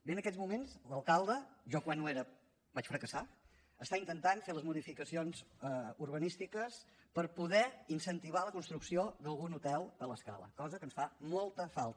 bé en aquests moments l’alcalde jo quan ho era vaig fracassar està intentant fer les modificacions urbanístiques per poder incentivar la construcció d’algun hotel a l’escala cosa que ens fa molta falta